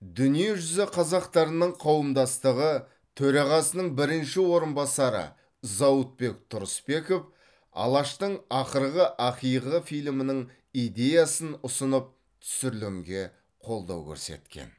дүниежүзі қазақтарының қауымдастығы төрағасының бірінші орынбасары зауытбек тұрысбеков алаштың ақырғы ақиығы фильмінің идеясын ұсынып түсірілімге қолдау көрсеткен